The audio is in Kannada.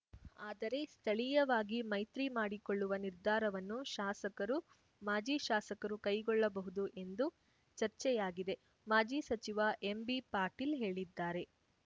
ಆದರೆ ಸ್ಥಳೀಯವಾಗಿ ಮೈತ್ರಿ ಮಾಡಿಕೊಳ್ಳುವ ನಿರ್ಧಾರವನ್ನು ಶಾಸಕರು ಮಾಜಿ ಶಾಸಕರು ಕೈಗೊಳ್ಳಬಹುದು ಎಂದು ಚರ್ಚೆಯಾಗಿದೆ ಮಾಜಿ ಸಚಿವ ಎಂಬಿ ಪಾಟೀಲ್‌ ಹೇಳಿದ್ದಾರೆ